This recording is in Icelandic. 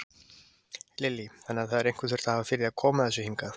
Lillý: Þannig að það hefur einhver þurft að hafa fyrir því að koma þessu hingað?